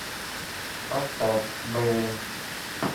поставь белли